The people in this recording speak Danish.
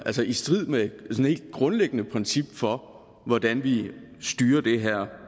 i strid med et helt grundlæggende princip for hvordan vi styrer det her